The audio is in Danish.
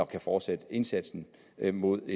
kan fortsætte indsatsen hen imod at